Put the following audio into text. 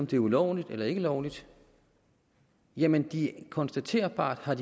det er ulovligt eller ikke ulovligt jamen det konstaterbart at